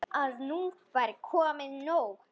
Að nú væri komið nóg.